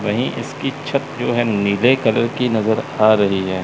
वहीं इसकी छत जो है नीले कलर की नजर आ रही है।